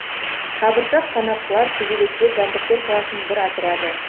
қабыршақ қанаттылар көбелектер жәндіктер класының бір отряды